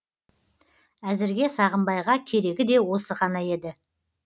әзірге сағымбайға керегі де осы ғана еді